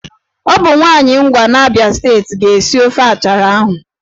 Ọ bụ nwaanyị Ngwa n'Abịa steeti ga-esi ofe achara ahụ.